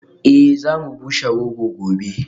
Eh za mu bushe rogo gobe